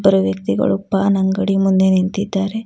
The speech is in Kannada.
ಇಬ್ಬರು ವ್ಯಕ್ತಿಗಳು ಪಾನ್ ಅಂಗಡಿ ಮುಂದೆ ನಿಂತಿದ್ದಾರೆ.